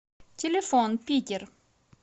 телефон питер